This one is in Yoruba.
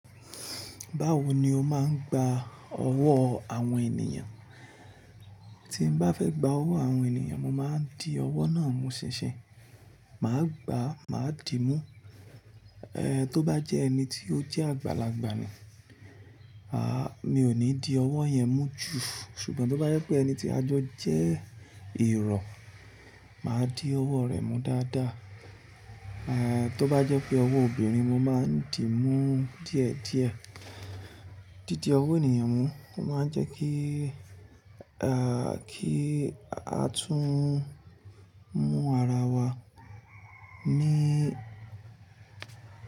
Báwo ni o máa ń gba ọwọ́ àwọn ènìyàn? Tí m bá fẹ́ gba ọwọ́ àwọn ènìyàn, mo máa ń di ọwọ́ náà mú ṣinsin. Màá gba, màá dìímú. To ba je eni ti o je agbalagba ni, mi o ni di owo yen mu ju. Ṣùgbọ́n tó bá jẹ́ pé ẹni tí a jọ jẹ́ ìrọ̀, màá di ọwọ́ rẹ̀ mú dáadáa. Eh, tó bá jẹ́ pé ọwọ́ obìnrin, mo máa ń dìímú díẹ̀díẹ̀. Didi owọ́ ènìyàn mú. Ó máa ń jẹ́ kí, kí a tún mú ara wa ní.